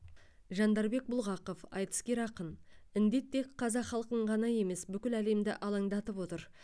жандарбек бұлғақов айтыскер ақын індет тек қазақ халқын ғана емес бүкіл әлемді алаңдатып отыр